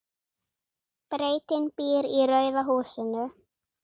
Bretinn býr í rauða húsinu.